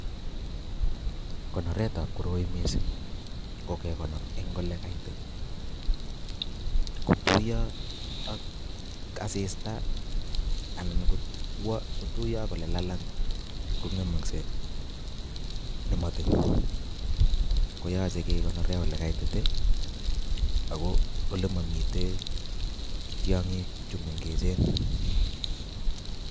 Konoretab koroi missing ko kekonor en olekaitit, ingotuiyo ak asista anan ko elelalang ko ngemokseei nemotin, koyoche kekonoren ole kaitit ako olemomi tiongiik chemengech